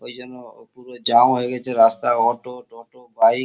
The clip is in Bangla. এই জন্য পুরো জ্যাম হয়ে গেছে রাস্তা অটো টোটো বাইক ।